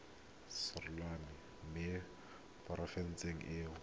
selegae mo porofenseng e o